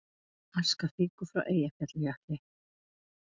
Aska fýkur frá Eyjafjallajökli